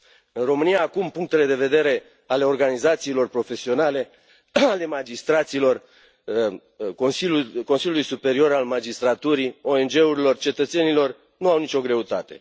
În România, acum, punctele de vedere ale organizațiilor profesionale ale magistraților, ale Consiliului Superior al Magistraturii, ONG urilor, cetățenilor nu au nicio greutate.